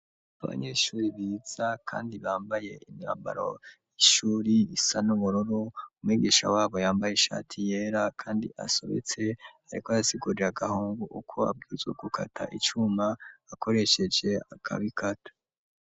Abanyeshuri biza, kandi bambaye inambaro ishuri isa n'umuroro u mwigisha wabo yambaye ishati yera, kandi asobetse, ariko ayasigurira agahungu uko abwuzwe gukata icuma akoresheje akabikatu.